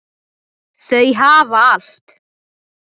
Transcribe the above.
Þau hafa allt.